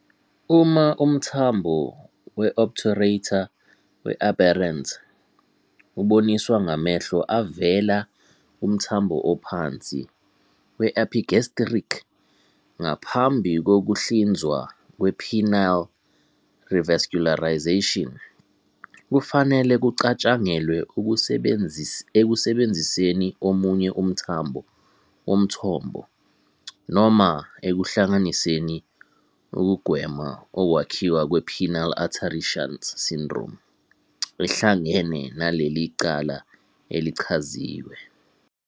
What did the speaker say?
Uma umthambo we-obturator we-aberrant uboniswa ngamehlo avela kumthambo ophansi we-epigastric ngaphambi kokuhlinzwa kwe-penile revascularization, kufanele kucatshangelwe ekusebenziseni omunye umthambo womthombo noma ekuhlanganiseni ukugwema ukwakhiwa kwePenile Artery Shunt Syndrome ehlangane naleli cala elichaziwe.